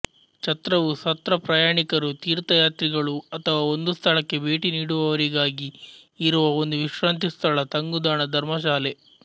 ಛತ್ರವು ಸತ್ರ ಪ್ರಯಾಣಿಕರು ತೀರ್ಥಯಾತ್ರಿಗಳು ಅಥವಾ ಒಂದು ಸ್ಥಳಕ್ಕೆ ಭೇಟಿನೀಡುವವರಿಗಾಗಿ ಇರುವ ಒಂದು ವಿಶ್ರಾಂತಿ ಸ್ಥಳ ತಂಗುದಾಣ ಧರ್ಮಶಾಲೆ